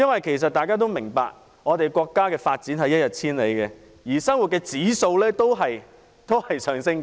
其實大家都明白，國家的發展一日千里，生活指數在上升。